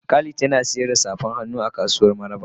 Khalid Yana sayar da tafan hannu a kasuwan mararaba.